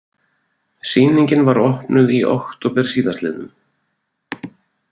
Sýningin var opnuð í október síðastliðnum